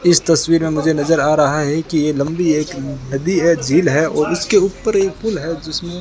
इस तस्वीर में मुझे नजर आ रहा है कि ये लंबी एक नदी है झील है और उसके ऊपर एक पूल है जिसमें --